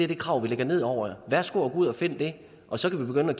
det krav vi lægger ned over jer værsgo at gå ud og finde det og så kan vi begynde at